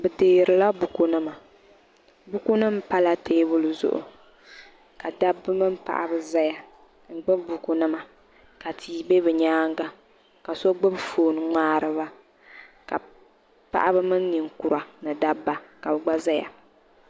Bi deeri la buku nima buku nim pala teebuli zuɣu ka dabba mini paɣaba zaya n gbubi buku nima ka tia bɛ bi nyaanga ka so gbubi fooni n ŋmaari ba ka paɣaba mini ninkura ni dabba ka bi gba zaya.